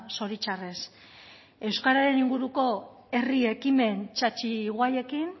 zoritxarrez euskararen inguruko herri ekimen txatxi guaiekin